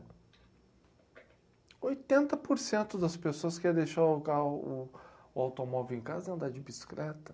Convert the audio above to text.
Oitenta porcento das pessoas quer deixar o autom, o automóvel em casa e andar de bicicleta.